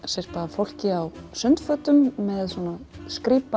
fólki á sundfötum með svona